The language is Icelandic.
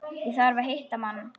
Ég þarf að hitta mann.